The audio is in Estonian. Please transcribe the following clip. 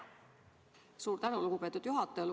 Suur tänu, lugupeetud juhataja!